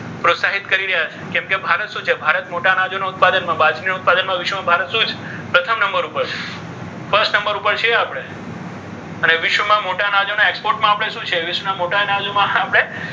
પ્રોત્સાહિત કરી રહ્યા છે. કેમકે ભારત શું છે? ભારત મોટા અનાજનો ઉત્પાદનમાં બાજરીના ઉત્પાદનમાં ભારત શું છે? પ્રથમ નંબર ઉપર છે. first number ઉપર છીએ આપણે. અને વિશ્વમાં મોટા આનાજો export માં શું છે? આપણે વિશ્વમાં મોટા અનાજમાં આપણે,